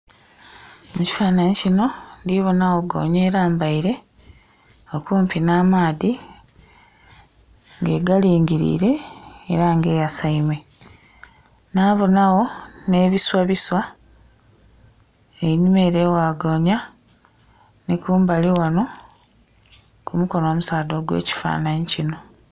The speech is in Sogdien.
Mu kifananhi kino ndhibonawo goonya elambaile okumpi nh'amaadhi nga egalingilire era nga eyasaime. Nhabonagho nh'ebiswabiswa einhuma ere ewa goonya, nhi kumbali ghano ku mukono omusaadha ogw'ekifanhnhi kino.